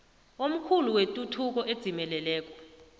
omkhulu wetuthuko edzimeleleko